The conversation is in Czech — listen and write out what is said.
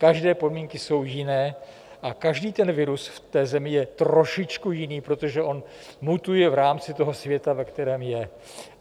Každé podmínky jsou jiné a každý ten virus v té zemi je trošičku jiný, protože on mutuje v rámci toho světa, ve kterém je.